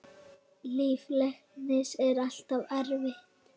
Líf læknis er alltaf erfitt.